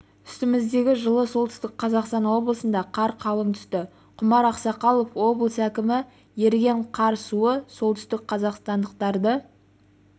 үстіміздегі жылы солтүстік қазақстан облысында қар қалың түсті құмар ақсақалов облыс әкімі еріген қар суы солтүстікқазақстандықтарды